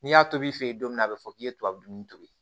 N'i y'a tobi i fɛ yen don min a bɛ fɔ k'i ye tubabu to yen